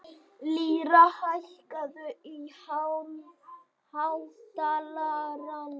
Lýra, hækkaðu í hátalaranum.